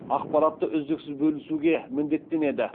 ақпаратты үздіксіз бөлісуге міндеттенеді